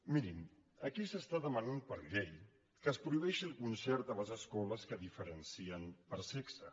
mirin aquí s’està demanant per llei que es prohibeixi el concert a les escoles que diferencien per sexe